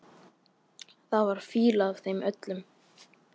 Það var fýla af þeim öllum.